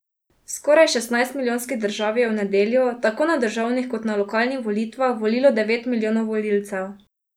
V skoraj šestnajstmilijonski državi je v nedeljo, tako na državnih kot na lokalnih volitvah, volilo devet milijonov volivcev.